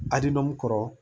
Adilɔn kɔrɔ